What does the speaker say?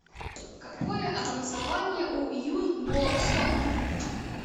какое образование у юн бо сон